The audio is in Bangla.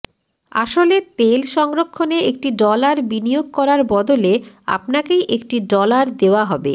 আসলে তেল সংরক্ষণে একটি ডলার বিনিয়োগ করার বদলে আপনাকেই একটি ডলার দেওয়া হবে